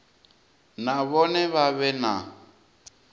na vhone vha vhe na